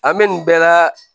An bɛ nin bɛɛ la